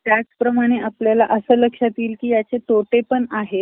एकनाथ शिंदे आणि संजय राऊत, यांची एकच कोल्हापूर मध्ये मोर्च सभा झाली होती ना मागे.